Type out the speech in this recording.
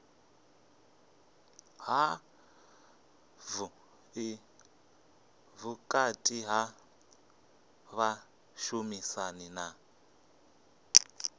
havhuḓi vhukati ha vhashumisani na